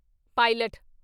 pilot